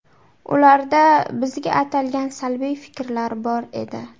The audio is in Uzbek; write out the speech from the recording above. Ularda bizga atalgan salbiy fikrlar bor edi.